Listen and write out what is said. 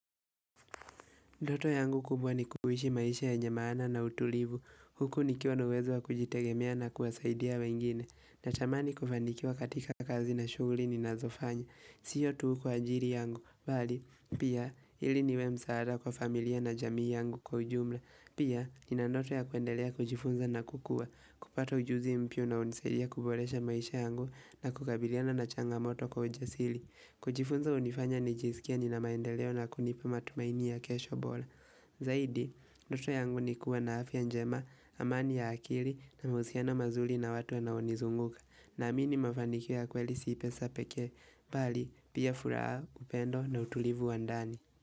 Ndoto yangu kubwa ni kuhishi maisha yenye maana na utulivu. Huku nikiwa na uwezo wa kujitegemea na kuwasaidia wengine. Natamani kufanikiwa katika kazi na shughuli ninazofanya. Siyo tuu kwa ajiri yangu. Bali, pia, ili niwe msaada kwa familia na jamii yangu kwa ujumla. Pia, nina ndoto ya kuendelea kujifunza na kukua. Kupata ujuzi mpyu unaonisaidia kuboresha maisha yangu na kukabiliana na changamoto kwa ujasili. Kujifunza unifanya nijizikie nina maendeleo na kunipa matumaini ya kesho bola Zaidi, ndoto yangu nikuwa na afya njema, amani ya akili na mausiano mazuli na watu wanaonizunguka Naamini mafanikio ya kweli si pesa pekee, bali pia furaha, upendo na utulivu wa ndani.